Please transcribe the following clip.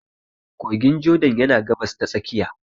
Kogin Jordan yana Gabas ta Tsakiya.